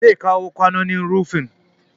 Zai kawo kwanon rufi